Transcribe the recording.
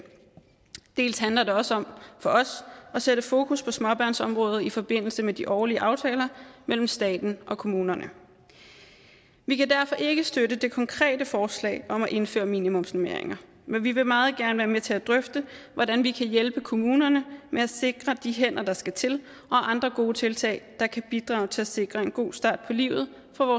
dels handler det også om for os at sætte fokus på småbørnsområdet i forbindelse med de årlige aftaler mellem staten og kommunerne vi kan derfor ikke støtte det konkrete forslag om at indføre minimumsnormeringer men vi vil meget gerne være med til at drøfte hvordan vi kan hjælpe kommunerne med at sikre de hænder der skal til og andre gode tiltag der kan bidrage til at sikre en god start på livet